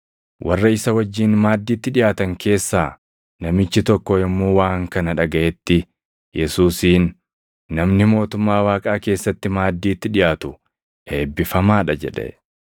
Warra isa wajjin maaddiitti dhiʼaatan keessaa namichi tokko yommuu waan kana dhagaʼetti Yesuusiin, “Namni mootummaa Waaqaa keessatti maaddiitti dhiʼaatu eebbifamaa dha” jedhe.